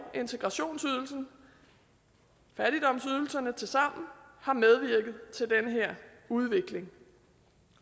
integrationsydelsen fattigdomsydelserne tilsammen har medvirket til den her udvikling